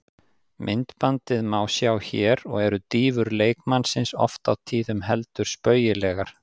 Myndbandið má sjá hér og eru dýfur leikmannsins oft á tíðum heldur spaugilegar.